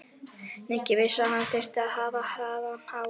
Nikki vissi að hann þyrfti að hafa hraðann á.